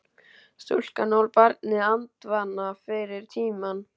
Stúlkan ól barnið andvana fyrir tímann.